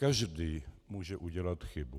Každý může udělat chybu.